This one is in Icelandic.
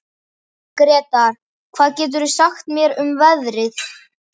Gretar, hvað geturðu sagt mér um veðrið?